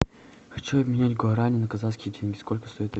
хочу обменять гуарани на казахские тенге сколько стоит